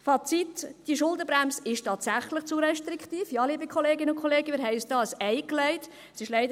Fazit: Diese Schuldenbremse ist tatsächlich zu restriktiv, ja, liebe Kolleginnen und Kollegen, wir haben uns damit ein Ei gelegt.